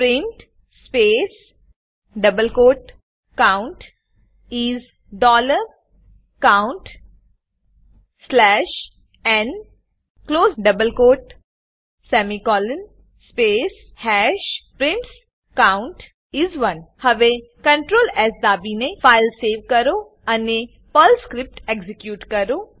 print space double quotes count is dollar count slash n close double quotes semicolon space hash prints count is 1 હવે CTRL S દાબીને file save કરો અને Perl script execute કરો